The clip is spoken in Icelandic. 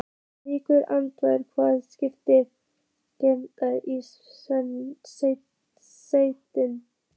Líkt og andlitið hafi skyndilega greypst í stein.